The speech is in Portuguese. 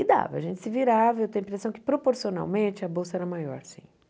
E dava, a gente se virava, eu tenho a impressão que proporcionalmente a bolsa era maior, sim.